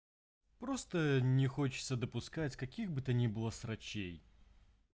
просто не хочется допускать каких бы то ни было срачей